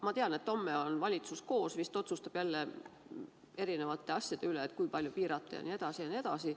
Ma tean, et homme on valitsus koos, vist otsustab jälle erinevate asjade üle, et kui palju piirata jne, jne.